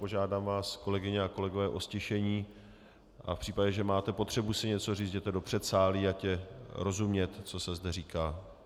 Požádám vás, kolegyně a kolegové, o ztišení a v případě, že máte potřebu si něco říct, jděte do předsálí, ať je rozumět, co se zde říká.